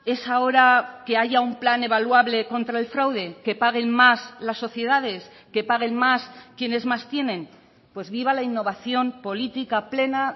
es ahora que haya un plan evaluable contra el fraude que paguen más las sociedades que paguen más quienes más tienen pues viva la innovación política plena